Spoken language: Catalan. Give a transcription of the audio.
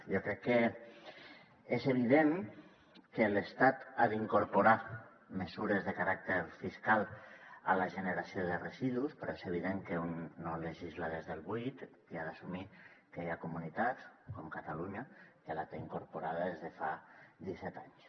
jo crec que és evident que l’estat ha d’incorporar mesures de caràcter fiscal a la generació de residus però és evident que un no legisla des del buit i ha d’assumir que hi ha comunitats com catalunya que la té incorporada des de fa disset anys